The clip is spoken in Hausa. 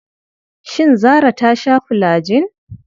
Shin Zarah ta sha fulajin?